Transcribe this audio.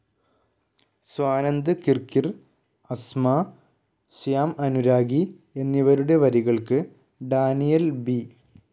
സ്വാനന്ദ് കിർക്കിർ, അസ്മാ, ശ്യാം അനുരാഗി എന്നിവരുടെ വരികൾക്ക് Daniel B.